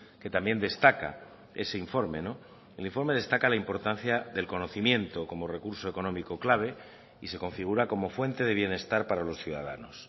que también destaca ese informe el informe destaca la importancia del conocimiento como recurso económico clave y se configura como fuente de bienestar para los ciudadanos